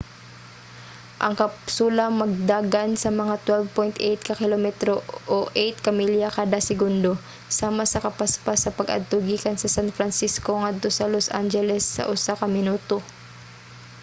ang kapsula magdagan sa mga 12.8 ka kilometro o 8 ka milya kada segundo sama sa kapaspas sa pag-adto gikan sa san francisco ngadto sa los angeles sa usa ka minuto